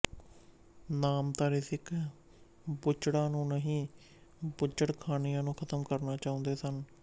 ਨਾਮਧਾਰੀ ਸਿੱਖ ਬੁੱਚੜਾਂ ਨੂੰ ਨਹੀਂ ਬੁੱਚੜਖਾਨਿਆਂ ਨੂੰ ਖਤਮ ਕਰਨਾ ਚਾਹੁੰਦੇ ਸਨ